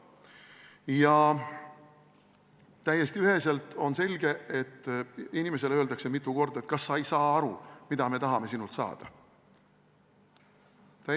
Ja täiesti üheselt on selge, et inimesele öeldakse mitu korda: kas sa ei saa aru, mida me tahame sinult saada?